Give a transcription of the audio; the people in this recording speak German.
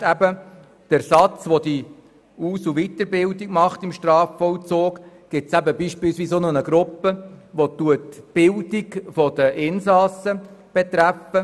Neben der Aus- und Weiterbildung im Strafvollzug gibt es auch eine Gruppe, die sich mit der Bildung der Insassen befasst.